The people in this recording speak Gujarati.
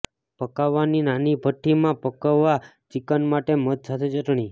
પકાવવાની નાની ભઠ્ઠી માં પકવવા ચિકન માટે મધ સાથે ચટણી